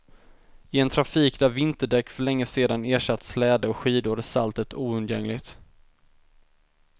I en trafik där vinterdäck för länge sedan ersatt släde och skidor är saltet oundgängligt.